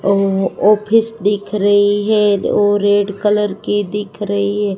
अ office दिख रही है वो रेड कलर की दिख रही है।